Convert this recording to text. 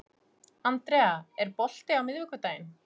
Andrea, er bolti á miðvikudaginn?